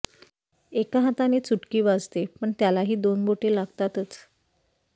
एका हाताने चुटकी वाजते पण त्याला हि दोन बोट लागतातच